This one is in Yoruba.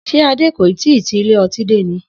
S̩é Adé kò ì tíì ti ilé o̩tí dé ni?